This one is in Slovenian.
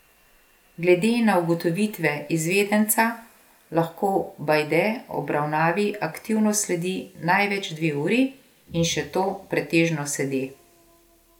Glede na ugotovitve izvedenca lahko Bajde obravnavi aktivno sledi največ dve uri in še to pretežno sede.